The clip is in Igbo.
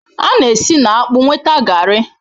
A na-esi na akpu nweta Garri